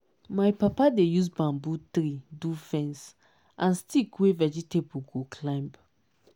my papa dey use bamboo tree do fence and stick wey vegetable go climb